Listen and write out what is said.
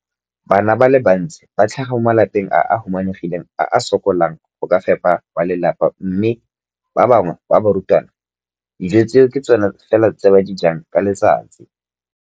Bana ba le bantsi ba tlhaga mo malapeng a a humanegileng a a sokolang go ka fepa ba lelapa mme ba bangwe ba barutwana, dijo tseo ke tsona fela tse ba di jang ka letsatsi.